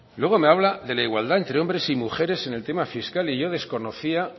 luego me habla de la igualdad entre hombres y mujeres en el tema fiscal y yo desconocía